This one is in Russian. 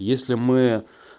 если мы